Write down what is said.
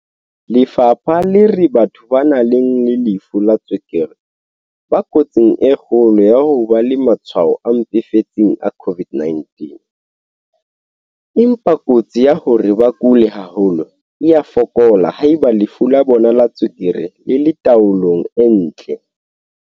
Lefapha le re batho ba nang le lefu la tswekere ba kotsing e kgolo ya ho ba le matshwao a mpefetseng a COVID-19, empa kotsi ya hore ba kule haholo e a fokola haeba lefu la bona la tswekere le le tao-long e ntle.